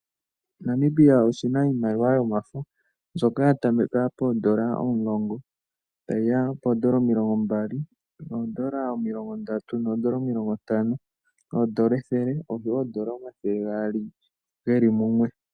Namibia oshina iimaliwa yomafo, mbyoka ya tameka poondola omulongo, tayiya poondola omilongo mbali, oondola omilongo ndatu, oondola omilongo ntano, oondola ethele oshowo oondola omathele gaali geli mumwe.